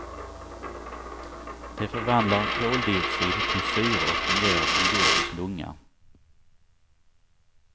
De förvandlar koldioxid till syre och fungerar som jordens lunga.